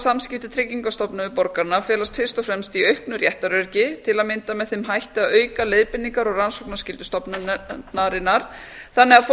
samskipti tryggingastofnunar um borgarana felast fyrst og fremst í auknu réttaröryggi til að mynda með þeim hætti að auka leiðbeiningar og rannsóknar og skyldu stofnunarinnar þannig að fólk